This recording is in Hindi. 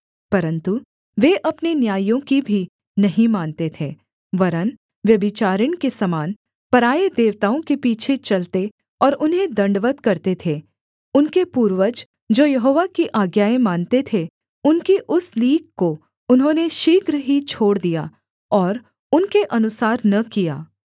परन्तु वे अपने न्यायियों की भी नहीं मानते थे वरन् व्यभिचारिणी के समान पराए देवताओं के पीछे चलते और उन्हें दण्डवत् करते थे उनके पूर्वज जो यहोवा की आज्ञाएँ मानते थे उनकी उस लीक को उन्होंने शीघ्र ही छोड़ दिया और उनके अनुसार न किया